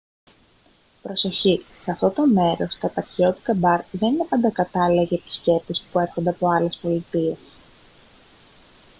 προσοχή σε αυτό το μέρος τα επαρχιώτικα μπαρ δεν είναι πάντα κατάλληλα για επισκέπτες που έρχονται από άλλες πολιτείες